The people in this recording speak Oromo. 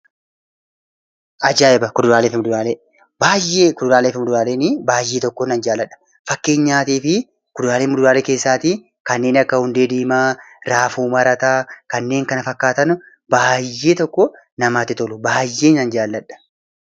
Kuduraalee fi muduraalee baayyeen jaalladha. Fakkeenyaaf kanneen akka hundee diimaa, raafuu marataa fi kanneen kana fakkaatan baayyeen jaalladha.